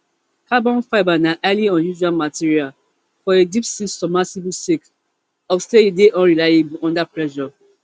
carbon fibre na highly unusual material for a deep sea submersible sake of say e dey unreliable under pressure